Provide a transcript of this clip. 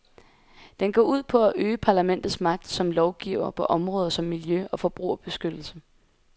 Den går ud på at øge parlamentets magt som lovgiver på områder som miljø og forbrugerbeskyttelse.